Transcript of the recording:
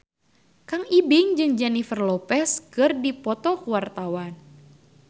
Kang Ibing jeung Jennifer Lopez keur dipoto ku wartawan